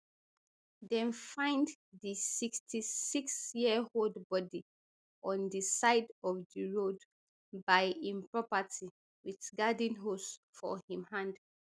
dem find di sixty-sixyearold body on di side of di road by im property wit garden hose for im hand